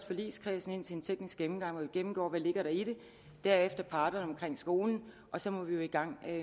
forligskredsen ind til en teknisk gennemgang hvor vi gennemgår hvad der ligger i det og derefter parterne omkring skolen og så må vi jo i gang